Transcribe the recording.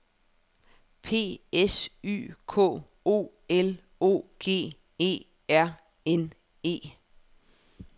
P S Y K O L O G E R N E